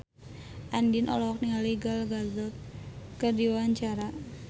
Andien olohok ningali Gal Gadot keur diwawancara